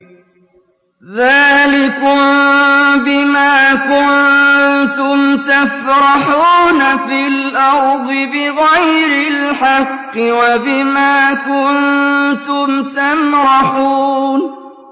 ذَٰلِكُم بِمَا كُنتُمْ تَفْرَحُونَ فِي الْأَرْضِ بِغَيْرِ الْحَقِّ وَبِمَا كُنتُمْ تَمْرَحُونَ